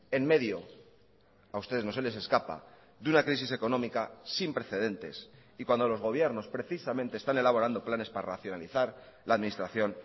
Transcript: en medio a ustedes no se les escapa de una crisis económica sin precedentes y cuando los gobiernos precisamente están elaborando planes para racionalizar la administración